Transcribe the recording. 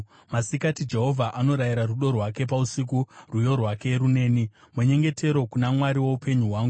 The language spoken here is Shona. Masikati, Jehovha anorayira rudo rwake, pausiku rwiyo rwake runeni, munyengetero kuna Mwari woupenyu hwangu.